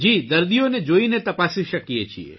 દર્દીઓને જોઇને તપાસી શકીએ છીએ